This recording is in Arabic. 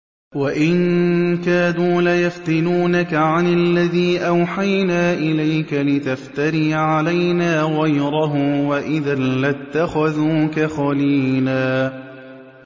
وَإِن كَادُوا لَيَفْتِنُونَكَ عَنِ الَّذِي أَوْحَيْنَا إِلَيْكَ لِتَفْتَرِيَ عَلَيْنَا غَيْرَهُ ۖ وَإِذًا لَّاتَّخَذُوكَ خَلِيلًا